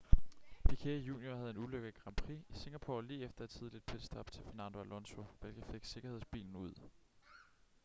piquet jr havde en ulykke i grand prix i singapore lige efter et tidligt pitstop til fernando alonso hvilket fik sikkerhedsbilen ud